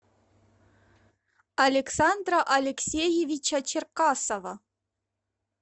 александра алексеевича черкасова